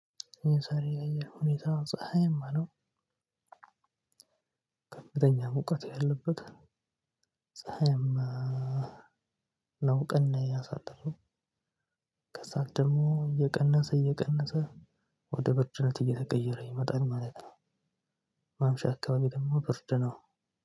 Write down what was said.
የዛሬ ያየር ሁኔታ ፀሀያማ ነው። ከፍተኛ ሙቀት ያለበት ፀሀይማ ነው ቀን ያሳለፈው ከዛ ደግሞ እየቀነሰ እየቀነሰ ወደ ብርድነት እየተቀየረ ይመጣል ማለት ነው። ማምሻ አካባቢ ደግሞ ብርድ ነው።